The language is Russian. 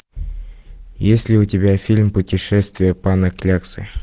есть ли у тебя фильм путешествие пана кляксы